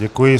Děkuji.